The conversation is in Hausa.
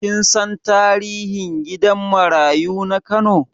Kin san tarihin gidan marayu na Kano?